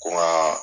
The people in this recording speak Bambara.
Ko n ka